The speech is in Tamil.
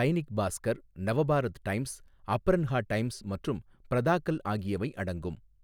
தைனிக் பாஸ்கர், நவபாரத் டைம்ஸ், அப்ரன்ஹா டைம்ஸ் மற்றும் பிரதாகல் ஆகியவை அடங்கும்.